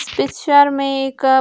इस पिक्चर में एक --